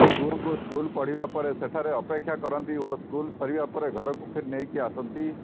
ଝିଅଙ୍କୁ ସ୍କୁଲ ଛାଡ଼ିବା ପରେ ସେ ସେଠାରେ ଅପେକ୍ଷା କରନ୍ତି ଓ ସ୍କୁଲ ସରିବା ପରେ ଘରକୁ ନେଇକି ଆସନ୍ତି